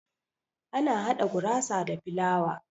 Ana hada gurasa da filawa.